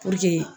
Puruke